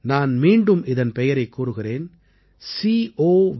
நான் மீண்டும் இதன் பெயரைக் கூறுகிறேன் covidwarriors